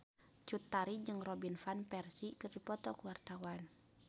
Cut Tari jeung Robin Van Persie keur dipoto ku wartawan